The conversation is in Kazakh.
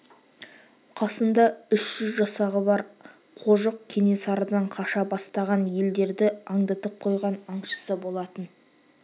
қасында үш жүз жасағы бар қожық кенесарыдан қаша бастаған елдерді аңдытып қойған аңшысы болатын